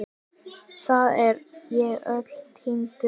Þar er ég öllum týndur.